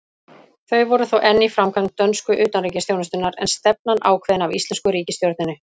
Þau voru þó enn í framkvæmd dönsku utanríkisþjónustunnar, en stefnan ákveðin af íslensku ríkisstjórninni.